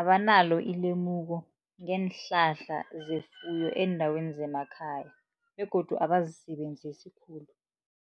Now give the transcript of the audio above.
abanalo ilemuko ngeenhlahla zefuyo eendaweni zemakhaya begodu abazisebenzisi khulu.